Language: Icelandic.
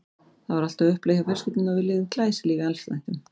Það var allt á uppleið hjá fjölskyldunni og við lifðum glæsilífi í allsnægtum.